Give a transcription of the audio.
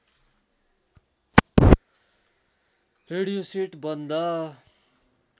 radio set बन्द